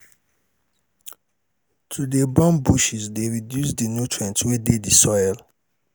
to de burn bushes de reduce di nutrients wey de di soil